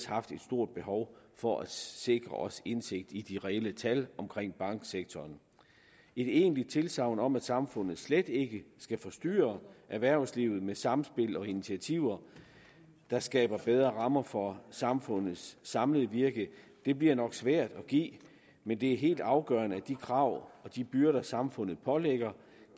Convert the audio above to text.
haft et stort behov for at sikre os indsigt i de reelle tal omkring banksektoren et egentligt tilsagn om at samfundet slet ikke skal forstyrre erhvervslivet med samspil og initiativer der skaber bedre rammer for samfundets samlede virke bliver nok svært at give men det er helt afgørende at de krav og de byrder samfundet pålægger